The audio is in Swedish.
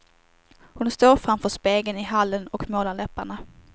Hon står framför spegeln i hallen och målar läpparna.